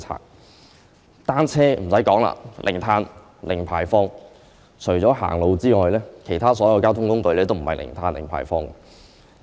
不用多說，單車是零碳、零排放，而除了走路外，其他所有交通工具都不是零碳、零排放。